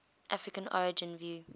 african origin view